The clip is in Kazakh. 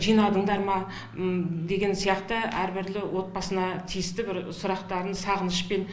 жинадыңдар ма деген сияқты әр бірлі отбасына тиісті бір сұрақтарын сағынышпен